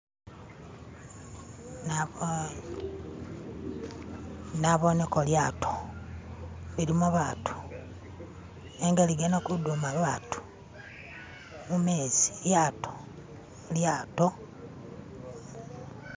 Nabooneko lyato lilimo batu nenga ligana kuduma batu mumezi lyato lyato